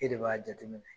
E de b'a jateminɛ